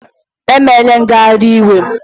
Emela ngagharị iwe!